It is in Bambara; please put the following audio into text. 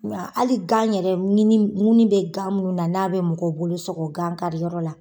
Nka hali gan yɛrɛ ŋini bɛ an minnu na n'a bɛ mɔgɔ bolo sɔgɔ gan kariyɔrɔ la.